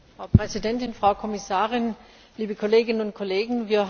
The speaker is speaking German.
Frau Präsidentin, Frau Kommissarin, liebe Kolleginnen und Kollegen!